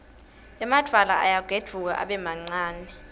emadvwala ayagedvuka abe mancane